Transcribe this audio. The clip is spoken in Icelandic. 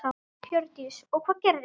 Hjördís: Og hvað gerðist?